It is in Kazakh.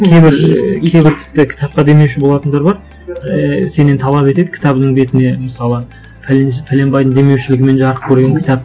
кейбір тіпті кітапқа демеуші болатындар бар ііі сенен талап етеді кітабыңның бетіне мысалы бәленбайдың демеушілігімен жарық көрген кітап